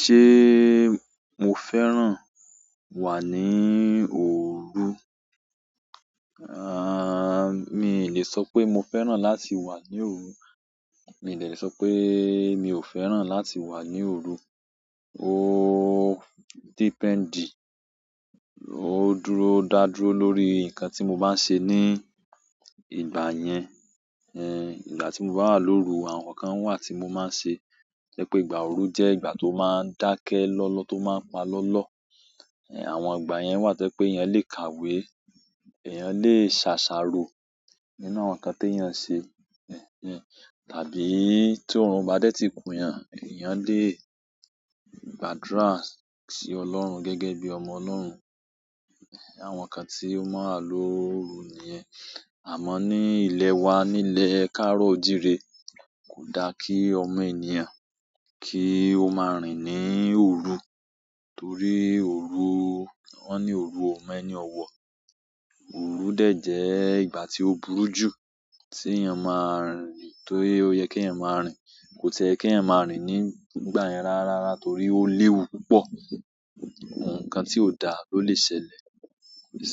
Ṣé mo fẹ́ràn wà ní òru? Mi i ò lè sọ pé mo fẹ́ràn láti wà ní òru. Mi i de lè sọ péé mi ò fẹ́ràn láti wà ní òru. Oo depend, ó dúró dá dúró lórí nǹkan tí mo bá ń ṣe ní ìgbà yẹn. Ẹ̀hn, ìgbà tí mo bá wà lórú, àwọn nǹkan kan wà tí mo máa ń ṣe. To jẹ́ pé ìgbà òru jẹ́ ìgbà tó máa ń dákẹ́ lọ́lọ́, tó máa ń pa lọ́lọ́. Ẹ̀hn, àwọn ìgbà yẹn wà to je pe eeyàn lè kàwé, èèyàn lè ṣàṣàrò nínú àwọn nǹkan tí èèyàn ń ṣe. Ẹ̀hn. Ehn, tàbí tí òòrùn o bá dé tí kunyàn, èèyàn lè gbàdúrà sí Ọlọ́run gẹ́gẹ́ bí ọmọ Ọlọ́run. Àwọn nǹkan tí ó mọ́ n wà lọòru nìyẹn. Àmọ́ ní ilẹ̀ wa nílẹ̀ kaaro oo jiire, kò daa kí ọmọ ènìyàn kí ó máa rìn ní òru. Torí òru-- wọ́n ní òru o mẹ́ni ọ̀wọ̀. Òru dẹ̀ jẹ́ ìgbà tí ó burú jù tí èèyàn máa rìn. Torí ó yẹ kí ẹ̀yin máa rìn, kò ti ẹ́ yẹ kí ẹ̀eyan máa rìn ní ìgbà yẹn rárára torí ó léwu púpọ̀. Àwọn nǹkan tí ò dáa ló lè ṣẹlẹ̀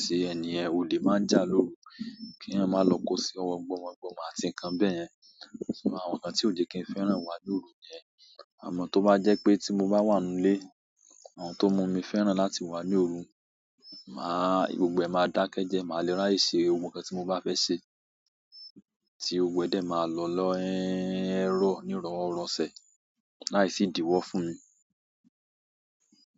sí èni yen. Ole máa jà lórú kí eeyan máa lọ kó sí ọwọ́ gbọmo gbomo àti nǹkan bẹ́yẹn. Àwọn nǹkan tí ò jẹ kí n fẹ́ràn wà lórú nìyẹn. Àmọ́ tó bá jẹ́ pé tí mo bá wà n nú ilé, àwọn ohun tó n mu mí fẹ́ràn láti wà ní òru. Màá-- gbogbo ẹ̀ máa dákẹ́ jeẹ, màá le ráyè ṣe gbogbo nkan tí mo bá fẹ́ ṣe. Tí gbogbo ẹ́ dé máa lọ lọ́in-- ẹ́rọ̀ ní ìrọ̀worọ̀sẹ̀, lái sì idíwọ́ fún mi.